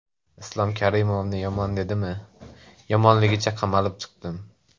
Islom Karimovni yomon dedimmi, yomonligicha qamalib chiqdim.